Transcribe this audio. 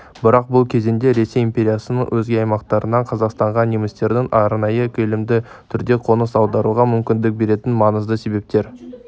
бірақ бұл кезеңде ресей империясының өзге аймақтарынан қазақстанға немістерді арнайы көлемді түрде қоныс аударуға мүмкіндік беретін маңызды себептер